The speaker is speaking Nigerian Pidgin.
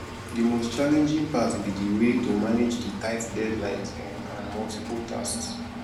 di most challenging part be di way to manage di tight deadlines um and multiple tasks